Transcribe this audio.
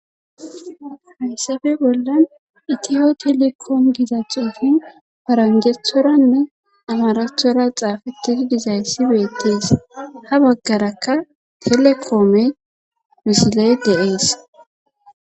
Hayssafe bollan iyiyo telekoomi giza xuufey paranjjethoranne amarathora xaafettidi dizayssi beetees ha baggarakka telekoomey misiley de7ees.